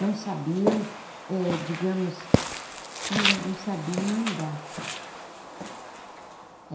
Não sabiam, eh digamos, olha, não sabiam mandar.